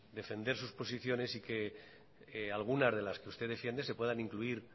defender sus posiciones y que algunas de las que usted defiende se puedan incluir